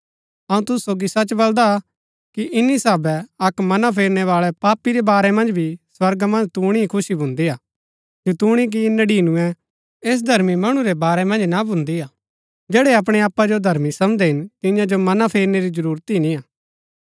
अऊँ तुसु सोगी सच बलदा कि इन्‍नी साहभै अक्क मना फेरनै बाळै पापी रै बारै मन्ज भी स्वर्गा मन्ज तुणी ही खुशी भुन्दी हा जतूणी कि नडिनूऐ ऐसै धर्मी मणु रै बारै मन्ज ना भुन्दी हा जैड़ै अपणै आपा जो धर्मी समझदै हिन तियां जो मना फेरनै री जरूरत ही नियां